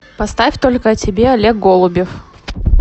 поставь только о тебе олег голубев